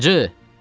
Hacı!